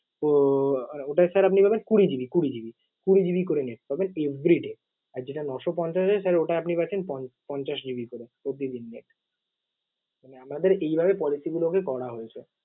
উহ ওটায় sir আপনি পাবেন কুড়ি GB কুড়ি GB । কুড়ি GB করে net পাবেন everyday । আর যেটা নয়শো পঞ্চাশ আছে sir ওটা আপনি পাচ্ছেন পন~ পঞ্চাশ GB করে প্রতিদিন net । মানে আমাদের এইভাবে policy গুলোকে করা হয়েছে।